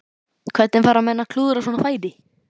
Hvernig fara menn að því að klúðra svona færi?